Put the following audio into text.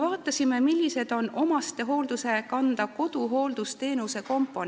Vaatame, millised koduhooldusteenuse komponendid on omastehoolduse kanda.